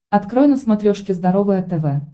открой на смотрешке здоровое тв